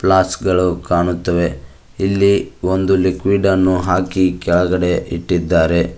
Flask ಗಳು ಕಾಣುತ್ತವೆ ಇಲ್ಲಿ ಒಂದು ಲಿಕ್ವಿಡ್ ಅನ್ನು ಹಾಕಿ ಕೆಳಗಡೆ ಇಟ್ಟಿದ್ದಾರೆ.